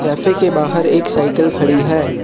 Cafe के बाहर एक साइकल खड़ी है।